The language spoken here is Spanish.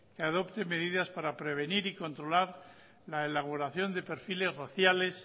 que adopte medidas para prevenir y controlar la elaboración de perfiles raciales